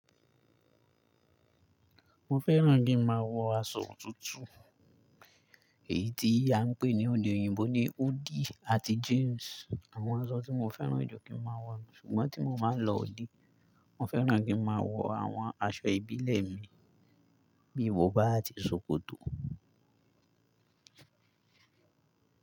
Mo fẹ́ràn kí n máa wọ aṣọ òtútù, èyí tí a ń pè ní ede oyinbo ní òdí àti jíǹsì. Àwọn aṣọ tí mo fẹ́ràn jù kí n máa wọ, ṣùgbọ́n tí mo ba lọ òde, mo fẹ́ràn kí n máa wọ àwọn aṣọ ìbílẹ̀ mi bíi bọ̀bà àti ṣòkòtò.